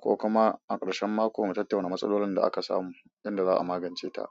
ko kuma a ƙarshen mako mu tattauya wani matsalolin da aka samu, inda za a magance ta.